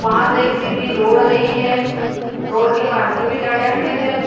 वह से एक सीधी रोड गयी हैं रोड के पास में भी गाड़ियां खड़ी हैं।